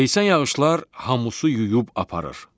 leysan yağışlar hamusu yuyub aparır.